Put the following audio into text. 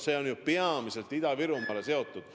See on ju peamiselt Ida-Virumaaga seotud.